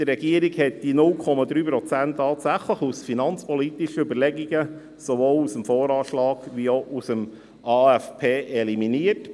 Die Regierung hat die 0,3 Prozent tatsächlich aus finanzpolitischen Überlegungen sowohl aus dem VA als auch aus dem AFP eliminiert.